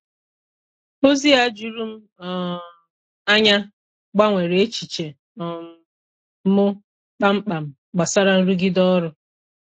Ozi a juru m um anya gbanwere echiche um m kpamkpam gbasàrà nrụgide ọrụ.